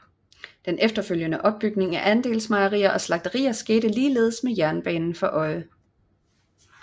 Den efterfølgende opbygning af andelsmejerier og slagterier skete ligeledes med jernbanen for øje